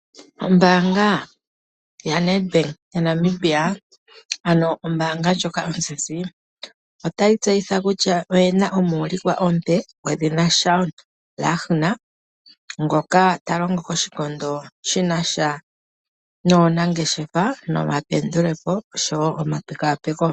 Ombaanga ozizi yaNedbank moNamibia otayi tseyitha kutya oyina omuulikwa omupe gwedhina Shaun Lahner, ngoka ta longo koshikondo shina sha nuunangeshefa nomapendulepo osho wo omapekapeko.